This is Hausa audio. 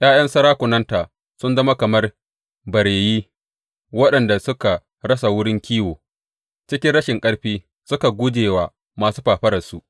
’Ya’yan sarakunanta sun zama kamar bareyi waɗanda suka rasa wurin kiwo; cikin rashin ƙarfi suka guje wa masu fafararsu.